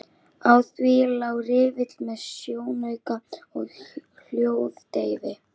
Á því lá riffill með sjónauka og hljóðdeyfi.